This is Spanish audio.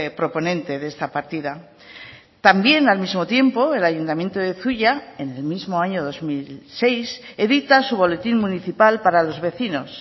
proponente de esta partida también al mismo tiempo el ayuntamiento de zuia en el mismo año dos mil seis edita su boletín municipal para los vecinos